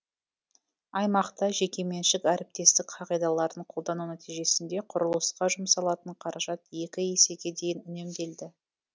аймақта жекеменшік әріптестік қағидаларын қолдану нәтижесінде құрылысқа жұмсалатын қаражат екі есеге дейін үнемделді